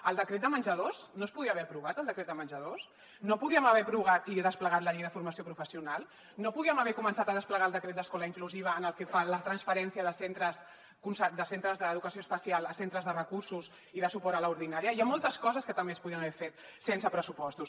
el decret de menjadors no es podia aprovat el decret de menjadors no podíem haver aprovat i desplegat la llei de formació professional no podíem haver començat a desplegar el decret d’escola inclusiva en el que fa la transferència de centres d’educació especial a centres de recursos i de suport a l’ordinària hi ha moltes coses que també es podien haver fet sense pressupostos